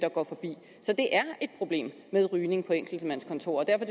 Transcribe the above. går forbi så det er et problem med rygning på enkeltmandskontorer og derfor